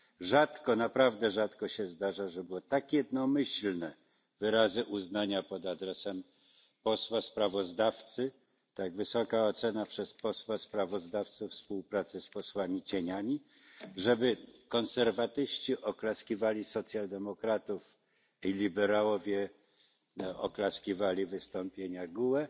Rzadko, naprawdę rzadko się zdarza, żeby były tak jednomyślne wyrazy uznania pod adresem posła sprawozdawcy, tak wysoka ocena przez posła sprawozdawcę współpracy z kontrsprawozdawcami, żeby konserwatyści oklaskiwali socjaldemokratów, a liberałowie oklaskiwali wystąpienia GUE,